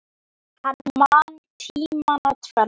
Hann man tímana tvenna.